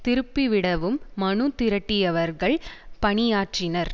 திருப்பிவிடவும் மனு திரட்டியவர்கள் பணியாற்றினர்